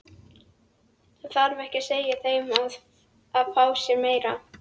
Það þarf ekki að segja þeim að fá sér meira.